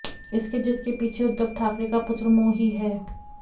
इसके जिद के पीछे उद्दव ठाकरे का पुत्रमोह ही हैं